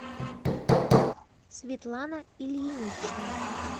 светлана ильинична